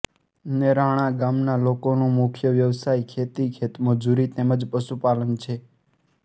નેરાણા ગામના લોકોનો મુખ્ય વ્યવસાય ખેતી ખેતમજૂરી તેમ જ પશુપાલન છે